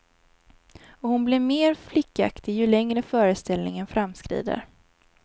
Och hon blir mer flickaktig ju längre föreställningen framskrider.